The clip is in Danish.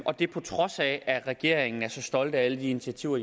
og det er på trods af at regeringen er så stolt af alle de initiativer